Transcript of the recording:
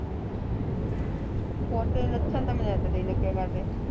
ਹੋਰ ਤੇਰੇ ਲੱਛਣ ਤਾਂ ਮੈਨੂੰ ਇਦਾਂ ਦੇ ਹੀ ਲੱਗਿਆ ਕਰਦੈ